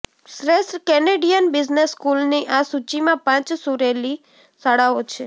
શ્રેષ્ઠ Canadian business સ્કૂલની આ સૂચિમાં પાંચ સુરેલી શાળાઓ છે